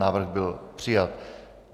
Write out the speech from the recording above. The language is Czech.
Návrh byl přijat.